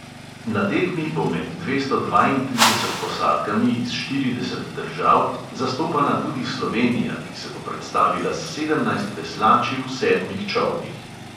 Na tekmi bo med dvesto dvaintrideset posadkami iz štirideset držav zastopana tudi slovenija, ki se bo predstavila s sedemnajst veslači v sedmih čolnih.